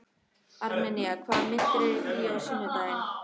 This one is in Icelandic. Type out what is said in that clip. Armenía, hvaða myndir eru í bíó á sunnudaginn?